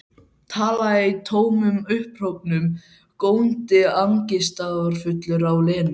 Talaði í tómum upphrópunum, góndi angistarfullur á Lenu.